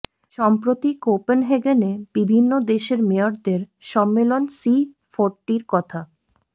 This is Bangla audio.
সম্প্র্রতি কোপেনহেগেনে বিভিন্ন দেশের মেয়রদের সম্মেলন সি ফোরটির কথা